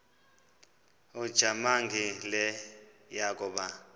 ujamangi le yakoba